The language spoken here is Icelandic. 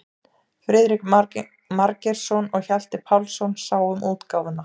Friðrik Margeirsson og Hjalti Pálsson sáu um útgáfuna.